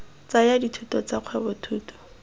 tsaya dithuto tsa kgwebo thuto